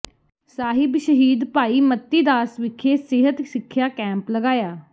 ਸਾਹਿਬ ਸ਼ਹੀਦ ਭਾਈ ਮਤੀਦਾਸ ਵਿਖੇ ਸਿਹਤ ਸਿਖਿਆ ਕੈਂਪ ਲਗਾਇਆ